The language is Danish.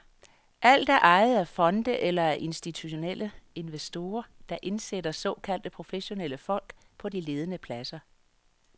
Alt er ejet af fonde eller af institutionelle investorer, der indsætter såkaldte professionelle folk på de ledende pladser.